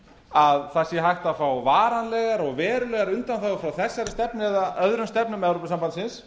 að það sé hægt að fá varanlegar og verulegar undanþágur frá þessari stefnu eða öðrum stefnum evrópusambandsins